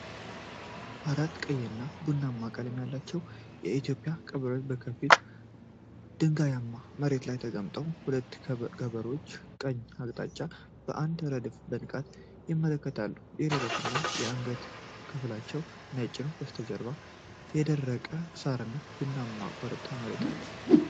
አራት ቀይና ቡናማ ቀለም ያላቸው የኢትዮጵያ ቀበሮዎች በከፊል ድንጋያማ መሬት ላይ ተቀምጠዋል። ሁሉም ቀበሮዎች ወደ ቀኝ አቅጣጫ በአንድ ረድፍ በንቃት ይመለከታሉ። የደረትና የአንገት ክፍላቸው ነጭ ነው። ከበስተጀርባው የደረቀ ሳር እና ቡናማ ኮረብታማ መሬት አለ።